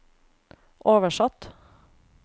oversatt